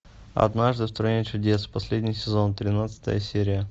однажды в стране чудес последний сезон тринадцатая серия